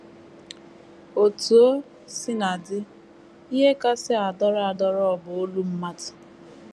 Otú o sina dị, ihe kasị adọrọ adọrọ bụ olu mmadụ.